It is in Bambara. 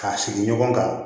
K'a sigi ɲɔgɔn kan